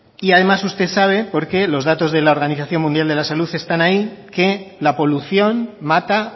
y además usted sabe porque los datos de las organización mundial de la salud están ahí que la polución mata